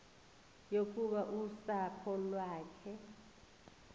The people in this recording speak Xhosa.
yokuba usapho lwakhe